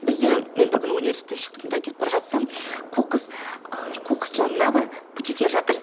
бізде мен бір күні университеттен шықтым да кетіп бара жатсам қоқыс жанында былай бөтелкелер жатыр